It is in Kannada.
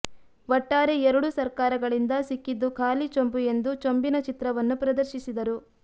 ಒಟ್ಟಾರೆ ಎರಡೂ ಸರ್ಕಾರಗಳಿಂದ ಸಿಕ್ಕಿದ್ದು ಖಾಲಿ ಚೊಂಬು ಎಂದು ಚೊಂಬಿನ ಚಿತ್ರವನ್ನು ಪ್ರದರ್ಶಿಸಿದರು